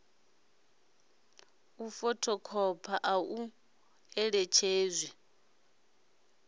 u fothokhopha a ḓo ṋetshedzwa